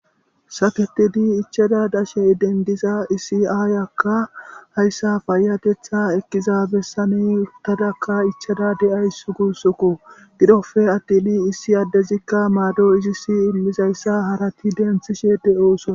Saketidi ichada dashe idendiza issi aayakka hayssa payatetha ekkiza bessani uttadakka ichada de7ays guussokko. Gidoppe attin issi addezikka maado izisi immizayssa harati denthishe ede7oosona.